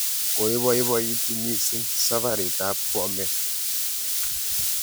Koipoipoiti missing' saparit ap Bomet